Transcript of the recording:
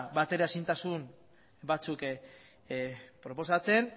bateraezintasun batzuk proposatzen